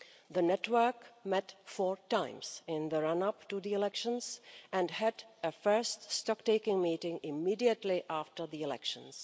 The network met four times in the run-up to the elections and had a first stocktaking meeting immediately after the elections.